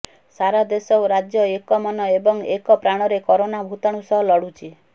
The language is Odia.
ସାରା ଦେଶ ଓ ରାଜ୍ୟ ଏକ ମନ ଏବଂ ଏକ ପ୍ରାଣରେ କରୋନା ଭୂତାଣୁ ସହ ଲଢୁଛି